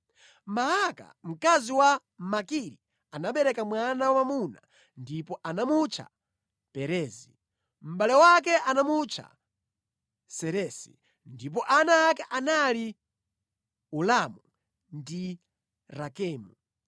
Maaka mkazi wa Makiri anabereka mwana wamwamuna ndipo anamutcha Perezi. Mʼbale wake anamutcha Seresi, ndipo ana ake anali Ulamu ndi Rakemu.